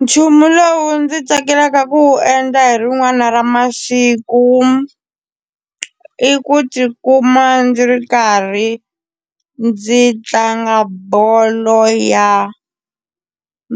Nchumu lowu ndzi tsakelaka ku wu endla hi rin'wana ra masiku i ku tikuma ndzi ri karhi ndzi tlanga bolo ya